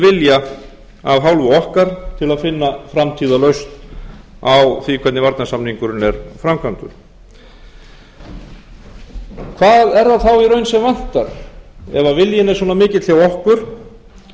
af hálfu okkar til að finna framtíðarlausn á því hvernig varnarsamningurinn er framkvæmdur hvað er það þá í raun sem vantar ef viljinn er svona mikill hjá okkur getum við